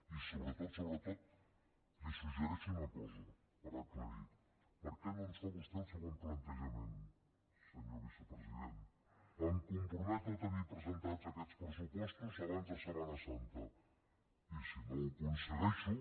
i sobretot sobretot li suggereixo una cosa per aclarir per què no ens fa vostè el següent plantejament senyor vicepresident em comprometo a tenir presentats aquests pressupostos abans de setmana santa i si no ho aconsegueixo